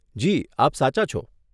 જી, આપ સાચા છો.